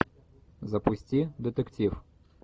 запусти детектив